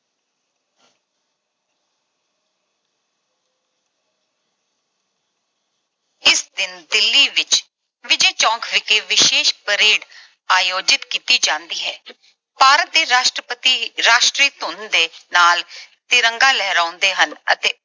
ਇਸ ਦਿਨ ਦਿੱਲੀ ਵਿੱਚ ਵਿਜੈ ਚੌਂਕ ਵਿਖੇ ਵਿਸ਼ੇਸ਼ parade ਆਯੋਜਿਤ ਕੀਤੀ ਜਾਂਦੀ ਹੈ। ਭਾਰਤ ਦੇ ਰਾਸ਼ਟਰਪਤੀ ਇੱਕ ਰਾਸ਼ਟਰੀ ਧੁਨ ਦੇ ਨਾਲ ਤਿਰੰਗਾ ਲਹਿਰਾਉਂਦੇ ਹਨ ਅਤੇ